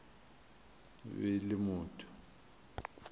e be e le motho